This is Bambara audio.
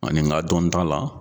Ɔ nin ka dɔn ta la.